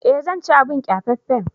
Eh zan ci abin kyafaffen.